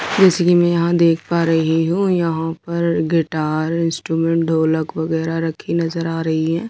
जैसे कि मैं यहां देख पा रही हूं यहां पर गिटार इनट्रूमेंट ढोलक बगैरा रखी नजर आ रही है।